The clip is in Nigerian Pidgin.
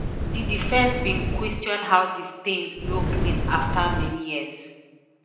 di defence bin question how di stains no clean afta many years